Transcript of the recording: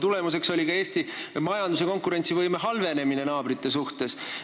Tulemuseks on ka Eesti majanduse konkurentsivõime halvenemine naabritega võrreldes.